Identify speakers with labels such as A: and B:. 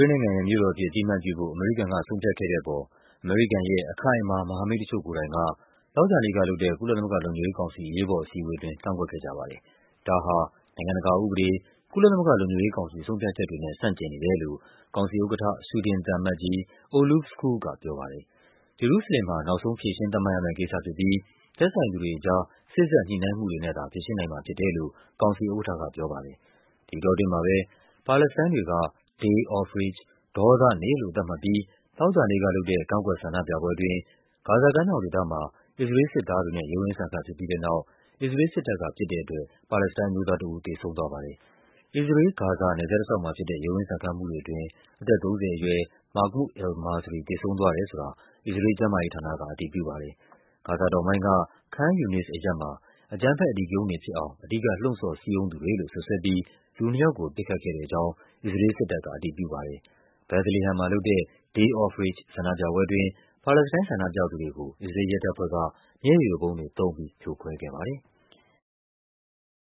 A: ေးလ်နိုင်ငံရဲ့မြို့တော်အဖြစ် အသိအမှတ်ပြုဖို့ အမေရိကန်က ဆုံးဖြတ်ခဲ့တဲ့အပေါ် အမေရိကန်ရဲ့ အခိုင်အမာ မဟာမိတ်တချို့ကိုယ်တိုင်က သောကြာနေ့ကလုပ်တဲ့ ကုလသမဂ္ဂလုံခြုံရေးကောင်စီ အရေးပေါ်အစည်းအဝေးအတွင်း ကန့်ကွက်ခဲ့ကြပါတယ်။ ဒါဟာ နိုင်ငံတကာဥပဒေ၊ ကုလသမဂ္ဂလုံခြုံရေးကောင်စီ ဆုံးဖြတ်ချက်တွေနဲ့ ဆန့်ကျင်နေတယ်လို့ ကောင်စီဥက္ကဌ ဆွီဒင် သံအမတ်ကြီး Olof Skoog ကပြောပါတယ်။ ဂျေရုဆလင်မ်ဟာ နောက်ဆုံးဖြေရှင်းသတ်မှတ်ရမယ့်ကိစ္စဖြစ်ပြီး သက်ဆိုင်သူတွေ အကြား စေ့စပ်ညှိနှိုင်းမှုတွေနဲ့သာ ဖြေရှင်းနိုင်မှာဖြစ်တယ်လို့ ကောင်စီဥက္ကဌက ပြောပါတယ်။ ဒီအတောအတွင်းမှာပဲ ပါလက်စတိုင်းတွေက Day of Rage ဒေါသနေ့လို့သတ်မှတ်ပြီး သောကြာနေ့ကလုပ်တဲ့ ကန့်ကွက်ဆန္ဒပြပွဲ အတွင်း ဂါဇာကမ်းမြောင်ဒေသမှာ အစ္စရေးလ်စစ်သားတွေနဲ့ ရုန်းရင်းဆန်ခတ်ဖြစ်ပြီးတဲ့နောက် အစ္စရေးလ်စစ်တပ်က ပစ်တဲ့ အတွက် ပါလက်စတိုင်းအမျိုးသားတဦး သေဆုံးသွားပါတယ်။ အစ္စရေးလ်-ဂါဇာနယ်စပ်တလျှောက်မှာဖြစ်တဲ့ ရုန်းရင်းဆန်ခတ်မှုတွေအတွင်း အသက် ၃၀ အရွယ် Mahmoud al-Masri သေဆုံး သွားတယ်ဆိုတာ အစ္စရေးလ်ကျန်းမာရေးဌာနက အတည်ပြုပါတယ်။ ဂါဇာတောင်ပိုင်းက Khan Yunis အရပ်မှာ အကြမ်းဖက် အဓိကရုဏ်းတွေဖြစ်အောင် အဓိကလှုံ့ဆော်စည်းရုံးသူတွေလို့ စွပ်စွဲပြီး လူနှစ်ယောက်ကို ပစ်ခတ်ခဲ့တဲ့အကြောင်း အစ္စရေးလ် စစ်တပ်ကအတည်ပြုပါတယ်။ Bethlehem မှာလုပ်တဲ့ Day of Rage ဆန္ဒပြပွဲအတွင်း ပါလက်စတိုင်း ဆန္ဒပြသူတွေကို အစ္စရေးလ်ရဲတပ်ဖွဲ့က မျက်ရည်ယိုဗုံးတွေသုံးပြီး ဖြိုခွဲခဲ့ပါတယ်။